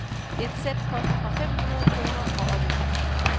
Et sæt koster fra fem hundrede kroner og opefter.